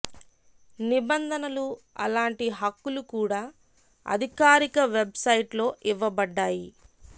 నిబంధనలు అలాంటి హక్కులు కూడా అధికారిక వెబ్ సైట్ లో ఇవ్వబడ్డాయి